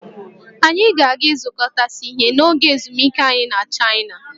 Anyị ga-aga ịzụkọtasị ihe n'oge ezumike anyị na Chaịna